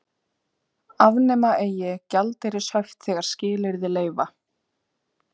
Afnema eigi gjaldeyrishöft þegar skilyrði leyfa